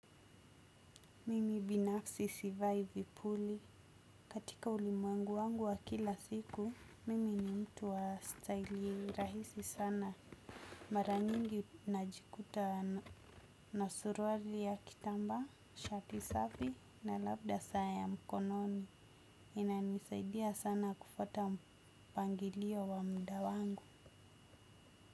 Mimi binafsi sivai vipuli. Katika ulimuangu wangu wa kila siku, mimi ni mtu wa style rahisi sana. Mara nyingi najikuta na suruali ya kitambaa, shati safi na labda saa ya mkononi. Inayo nisaidia sana kufuata mpangilio wa muda wangu.